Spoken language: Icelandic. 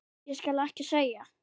Ég skal ekki segja.